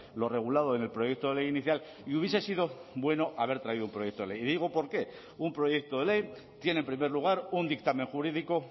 lo regulado en el proyecto de ley inicial y hubiese sido bueno haber traído un proyecto de ley y digo por qué un proyecto de ley tiene en primer lugar un dictamen jurídico